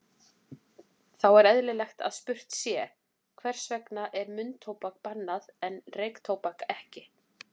Þá er eðlilegt að spurt sé, hvers vegna er munntóbak bannað en reyktóbak ekki?